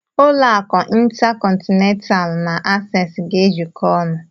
Ụlọ akụ Intacọntinentalụ na Asees ga-ejiko ọnụ.